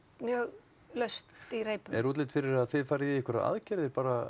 mjög laust í reipum er útlit fyrir að þið farið bara í einhverjar aðgerðir